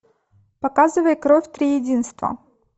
показывай кровь триединства